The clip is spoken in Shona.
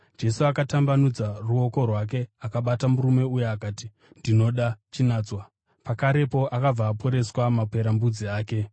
Jesu akatambanudza ruoko rwake akabata murume uya akati, “Ndinoda. Chinatswa!” Pakarepo akabva aporeswa maperembudzi ake.